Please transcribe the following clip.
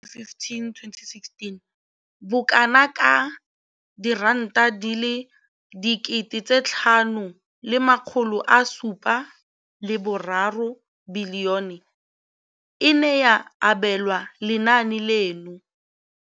Mo ngwageng wa matlole wa 2015,16, bokanaka R5 703 bilione e ne ya abelwa lenaane leno.